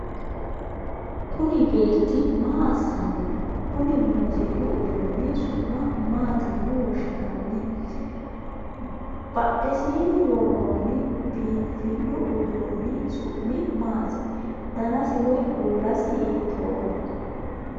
Kunni beeti maa asinni no? Konni muuziiqu uduunni su'ma maati yinne woshinnanni? Badhesiinni woroonni biinfilu uduunni su'mi maati? Danasi woyi kuulasi hiitooho?